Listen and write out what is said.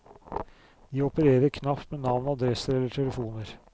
De opererer knapt med navn, adresser eller telefoner.